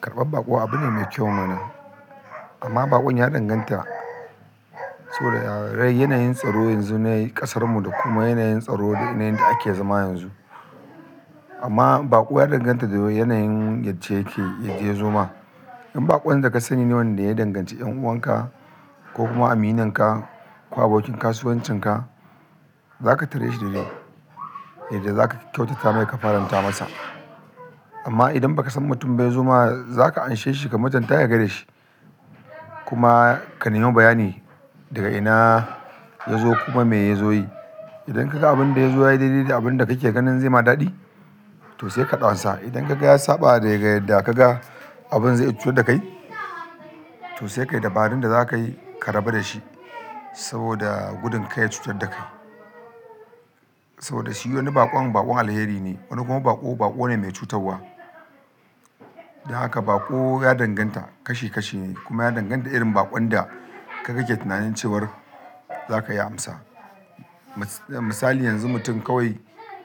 Karɓar baƙo abu ne mai kyau mana, amma baƙon ya danganta so da yawa. Yanayin tsaro yanzu na ƙasarmu da kuma yanayin tsaro da yanayin da ake zama yanzu. Amma baƙo ya danganta da yanayin yadda yake, yadda ya zo ma. In baƙon da ka sani ne wanda ya danganci 'yan'uwan ka ko kuma aminin ka ko abokin kasuwancin ka, za ka tare shi daidai yadda za ka kyautata mai ka faranta masa. Amma idan ba ka san mutum bai yazo ma, za ka anshe shi ka mutunta yaga shi kuma ka nemi bayani daga ina ya zo kuma me ya zo yi. Idan ka ga abin da ya zo yayi daidai da abin da kake ganin zai ma daɗi, to sai ka ɗansa. Idan ka ga ya saba da ga yadda ka ga abun zai cutar da kai, to sai ka yi dabarun da za ka yi ka rabu da shi saboda gudun kar ya cutar da kai. Saboda shi wani baƙon, baƙon alheri ne, wani kuma baƙo, baƙo ne mai cutarwa. Don haka baƙo ya danganta kashi kashi ne kuma ya danganta da irin baƙon da ka gake tunanin cewar za ka iya amsa. Misali yanzu mutum kawai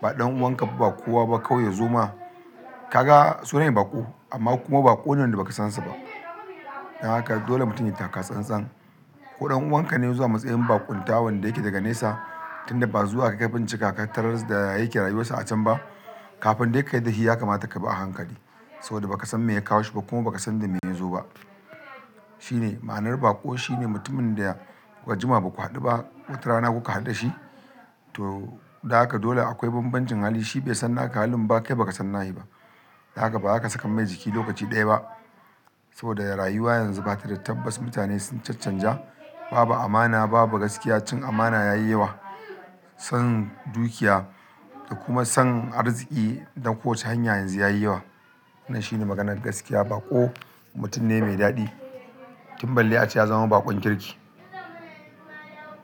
ba ɗan'uwan ka ba kowa ba kawai ya zo ma. Ka ga sunan shi baƙo amma kuma baƙo ne da ba ka san sa ba. Don haka dole mutum yai taka tsan-tsan. Ko ɗan'uwan ka ne ya zo a matsayin baƙon ta wanda yake daga nesa tun da ba zuwa ka ga bincika ka tarar da ya yake rayuwar sa a can ba. Kafin dai ka yarda shi ya kamata ka bi a hankali saboda ba ka san me ya kawo shi ba kuma ba ka san da me ya zo ba. Shi ne, ma'anar baƙo shi ne mutumin da kuka jima ba ku haɗu ba, wata rana kuka haɗu da shi, to don haka dole akwai bambancin hali. Shi bai san naka halin ba kai ba ka san nashi ba. Don haka ba za ka saka mai jiki lokaci ɗaya ba saboda rayuwa yanzu ba ta da tabbas. Mutane sun caccanja, babu amana, babu gaskiya. Cin amana ya yi yawa, son dukiya da kuma son arziki don kowace hanya yanzu ya yi yawa. Nan shi ne maganar gaskiya. Baƙo mutum ne mai daɗi, tun balle ace ya zama baƙon kirki.